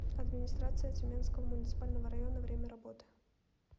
администрация тюменского муниципального района время работы